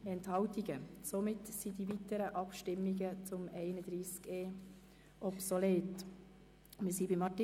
Somit sind die weiteren Abstimmungen zu Artikel 31e (neu) obsolet.